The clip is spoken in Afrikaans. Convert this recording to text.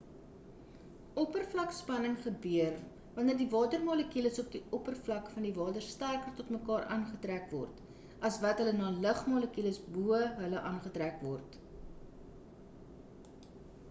oppervlakspanning gebeur want die water molekules op die oppervlak van die water sterker tot mekaar aangetrek word as wat hul na die lugmolekules bo hulle aangetrek word